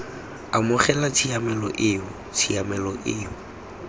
amogela tshiamelo eo tshiamelo eo